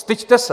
Styďte se!